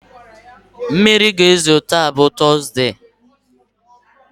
Mmiri ga-ezo taa bụ tọzdee.